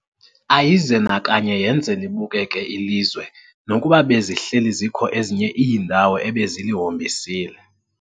Ayize nakanye yenze libukeke ilizwe nokuba bezihleli zikho ezinye iindawo ebezilihombisile.